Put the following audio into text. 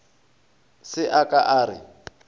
se a ka a re